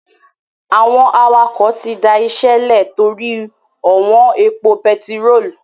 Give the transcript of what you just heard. Àwọn awakọ̀ tí dá ìṣe lè torí ó wọn epo bẹtiró